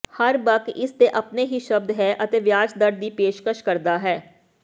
ਹਰ ਬਕ ਇਸ ਦੇ ਆਪਣੇ ਹੀ ਸ਼ਬਦ ਹੈ ਅਤੇ ਵਿਆਜ ਦਰ ਦੀ ਪੇਸ਼ਕਸ਼ ਕਰਦਾ ਹੈ